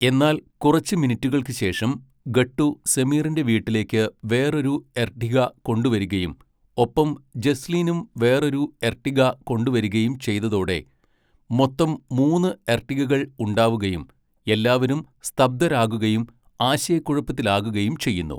എന്നാൽ കുറച്ച് മിനിറ്റുകൾക്ക് ശേഷം, ഗട്ടു സമീറിൻ്റെ വീട്ടിലേക്ക് വേറൊരു എർട്ടിഗ കൊണ്ടുവരികയും ഒപ്പം ജസ്ലീനും വേറൊരു എർട്ടിഗ കൊണ്ടുവരികയും ചെയ്തതോടെ മൊത്തം മൂന്ന് എർട്ടിഗകൾ ഉണ്ടാവുകയും എല്ലാവരും സ്തബ്ധരാകുകയും ആശയക്കുഴപ്പത്തിലാകുകയും ചെയ്യുന്നു.